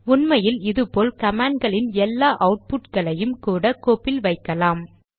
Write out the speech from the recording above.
உண்மையில் இது போல் கமாண்ட் களின் எல்லா அவுட்புட் களையும் கூட கோப்பில் வைக்கலாம்